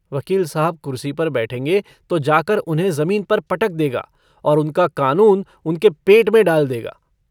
वकील साहब कुरसी पर बैठेंगे तो जाकर उन्हें ज़मीन पर पटक देगा और उनका कानून उनके पेट में डाल देगा।